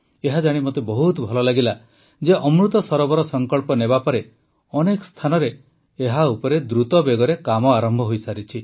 ଏହାଜାଣି ମୋତେ ବହୁତ ଭଲ ଲାଗିଲା ଯେ ଅମୃତ ସରୋବର ସଂକଳ୍ପ ନେବାପରେ ଅନେକ ସ୍ଥାନରେ ଏହା ଉପରେ ଦ୍ରୁତ ବେଗରେ କାମ ଆରମ୍ଭ ହୋଇସାରିଛି